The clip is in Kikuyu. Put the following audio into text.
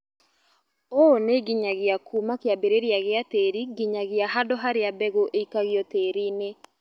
ũũ nĩnginyagia kuuma kĩambĩrĩria gĩa tĩri nginyagia handũ harĩa mbegũ ĩikagio tĩriinĩ